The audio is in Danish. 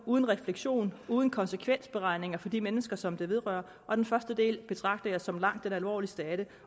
uden refleksion uden konsekvensberegninger for de mennesker som det vedrører og den første del betragter jeg som langt den alvorligste